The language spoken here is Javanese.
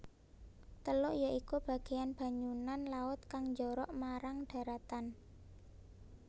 Teluk ya iku bagéyan banyunan laut kang njorok marang dharatan